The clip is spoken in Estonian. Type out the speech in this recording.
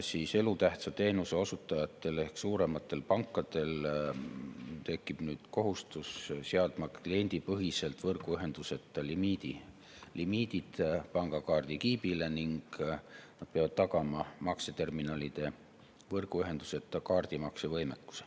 Elutähtsa teenuse osutajatel ehk suurematel pankadel tekib kohustus seada kliendipõhiselt võrguühenduseta limiidid pangakaardikiibile ning nad peavad tagama makseterminalide võrguühenduseta kaardimakse võimekuse.